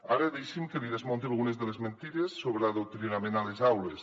ara deixi’m que li desmunti algunes de les mentides sobre l’adoctrinament a les aules